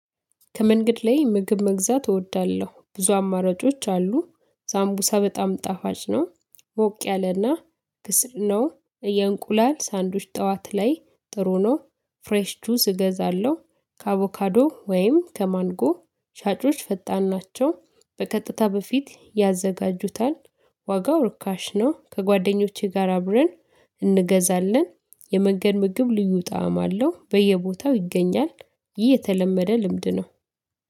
ከመንገድ ላይ ምግብ መግዛት እወዳለሁ ብዙ አማራጮች አሉ ሳምቡሳ በጣም ጣፋጭ ነው። ሞቅ ያለና ክስል ነው። የእንቁላል ሳንድዊች ጠዋት ላይ ጥሩ ነው። ፍሬሽ ጁዝ እገዛለሁ። ከአቮካዶ ወይም ከማንጎ ሻጮች ፈጣን ናቸው በቀጥታ በፊት ያዘጋጁታል። ዋጋው ርካሽ ነው ከጓደኞቼ ጋር አብረን እንገዛለን። የመገድ ምግብ ልዩ ጣዕም አለው በየቦታው ይገኛል። ይህ የተለመደ ልምድ ነው።